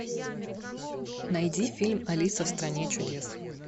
найди фильм алиса в стране чудес